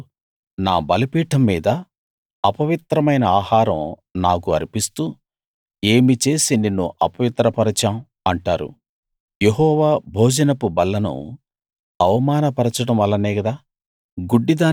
మీరు నా బలిపీఠం మీద అపవిత్రమైన ఆహారం నాకు అర్పిస్తూ ఏమి చేసి నిన్ను అపవిత్రపరచాం అంటారు యెహోవా భోజనపు బల్లను అవమాన పరచడం వల్లనే గదా